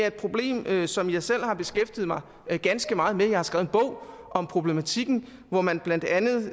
et problem som jeg selv har beskæftiget mig ganske meget med jeg har skrevet en bog om problematikken hvor man blandt andet